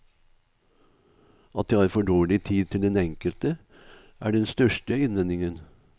At de har for dårlig tid til den enkelte, er den største innvendingen.